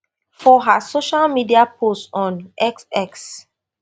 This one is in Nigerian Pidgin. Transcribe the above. for her social media post on x x